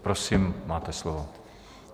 Prosím, máte slovo.